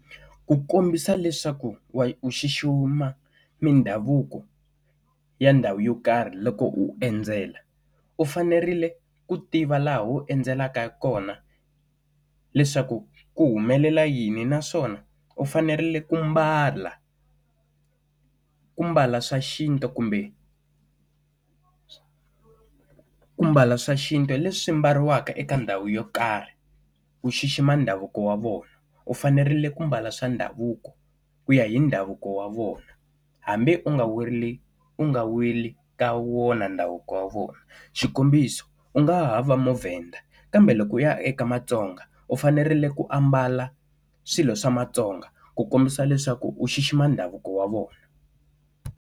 Ku kombisa leswaku u xixima mindhavuko ya ndhawu yo karhi loko u endzela u fanerile ku tiva laha u endzelaka kona, leswaku ku humelela yini naswona u fanerile ku mbala. Ku mbala swa xintu kumbe ku mbala swa xintu leswi mbariwaka eka ndhawu yo karhi. Ku xixima ndhavuko wa vona u fanerile ku mbala swa ndhavuko ku ya hi ndhavuko wa vona, hambi u nga we ri u nga weli ka wona ndhavuko wa vona. Xikombiso u nga ha va muvhenda, kambe loko u ya eka matsonga u fanerile ku ambala swilo swa matsonga ku kombisa leswaku u xixima ndhavuko wa vona.